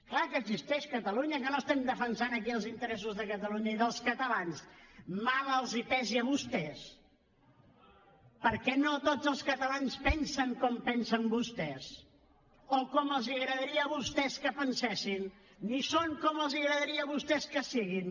clar que existeix catalunya que no estem defensant aquí els interessos de catalunya i dels catalans mal els pesi a vostès perquè no tots els catalans pensen com pensen vostès o com els agradaria a vostès que pensessin ni són com els agradaria a vostès que fossin